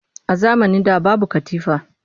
A zamanin da babu katifa